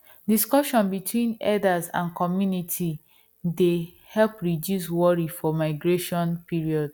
discussion between herders and community dey help reduce worry for migration period